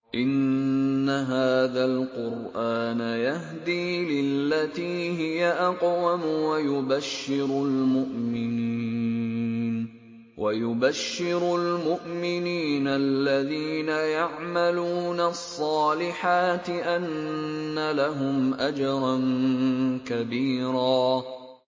إِنَّ هَٰذَا الْقُرْآنَ يَهْدِي لِلَّتِي هِيَ أَقْوَمُ وَيُبَشِّرُ الْمُؤْمِنِينَ الَّذِينَ يَعْمَلُونَ الصَّالِحَاتِ أَنَّ لَهُمْ أَجْرًا كَبِيرًا